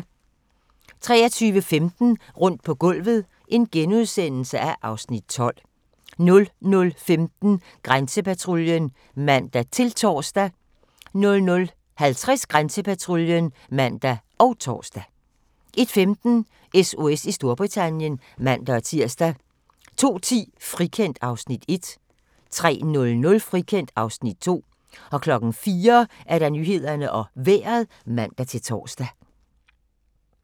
23:15: Rundt på gulvet (Afs. 12)* 00:15: Grænsepatruljen (man-tor) 00:50: Grænsepatruljen (man og tor) 01:15: SOS i Storbritannien (man-tir) 02:10: Frikendt (Afs. 1) 03:00: Frikendt (Afs. 2) 04:00: Nyhederne og Vejret (man-tor)